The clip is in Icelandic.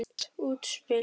Hvasst útspil.